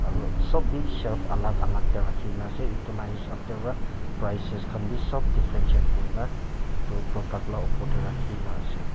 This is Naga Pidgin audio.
aro sob bi shelf alak alak tae rakhina ase edu la hisab pa prices khan bi sop differentiate kurina edu product la opor tae rakhina ase.